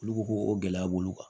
Olu ko ko o gɛlɛya b'olu kan